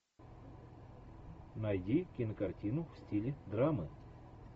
найди кинокартину в стиле драмы